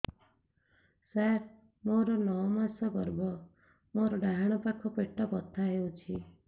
ସାର ମୋର ନଅ ମାସ ଗର୍ଭ ମୋର ଡାହାଣ ପାଖ ପେଟ ବଥା ହେଉଛି